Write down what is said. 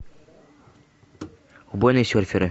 убойные серферы